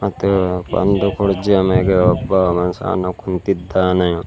ಮತ್ತೆ ಒಂದು ಕುರ್ಚಿಯ ಮ್ಯಾಗೆ ಒಬ್ಬ ಮನುಷ್ಯನು ಕುಂತಿದ್ದಾನೆ.